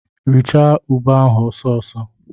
Rachaa ube ahụ ọsọ ọsọ!